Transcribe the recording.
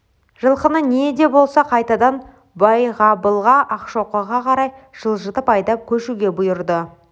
жылқыны не де болса қайтадан байғабылға ақшоқыға қарай жылжытып айдап көшуге бұйырды